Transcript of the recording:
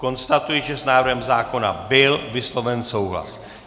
Konstatuji, že s návrhem zákona byl vysloven souhlas.